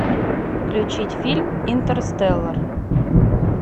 включить фильм интерстеллар